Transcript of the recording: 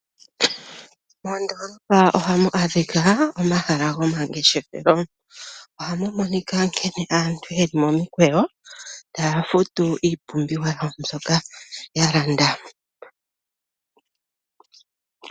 Moondoolopa ohamu adhika omahala gomangeshefelo. Ohamu monika nkene aantu yeli momikweyo tayafutu iipumbiwa awo mbyoka yalanda.